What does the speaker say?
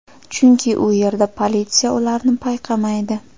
Chunki u yerda politsiya ularni payqamaydi.